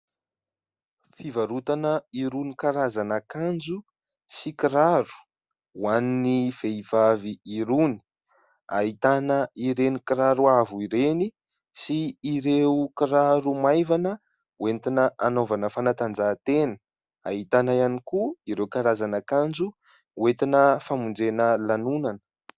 Fivarotana irony karazana akanjo sy kiraro ho an'ny vehivavy irony, ahitana ireny kiraro avo ireny sy ireo kiraro maivana hoentina hanaovana fanatanjahan-tena, ahitana ihany koa ireo karazana akanjo hoentina famonjena lanonana.